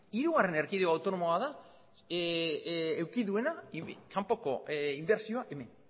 hirugarren erkidego autonomoa da eduki duena kanpoko inbertsioa hemen